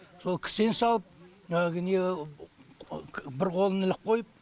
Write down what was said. сол кісен салып әгі не бір қолын іліп қойып